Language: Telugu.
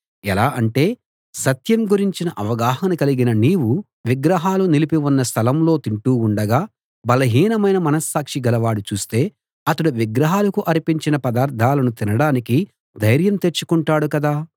ఎలా అంటే సత్యం గురించిన అవగాహన కలిగిన నీవు విగ్రహాలు నిలిపి ఉన్న స్థలంలో తింటూ ఉండగా బలహీనమైన మనస్సాక్షి గలవాడు చూస్తే అతడు విగ్రహాలకు అర్పించిన పదార్ధాలను తినడానికి ధైర్యం తెచ్చుకుంటాడు కదా